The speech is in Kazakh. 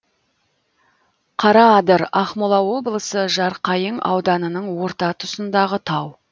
қараадыр ақмола облысы жарқайың ауданының орта тұсындағы тау